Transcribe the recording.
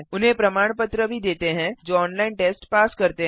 उन्हें प्रमाण पत्र भी देते हैं जो ऑनलाइन टेस्ट पास करते हैं